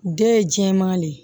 Den ye jɛman de ye